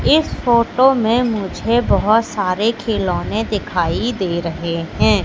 इस फोटो में मुझे बहोत सारे खिलौने दिखाई दे रहे हैं।